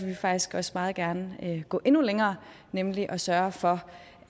vi faktisk også meget gerne gå endnu længere nemlig sørge for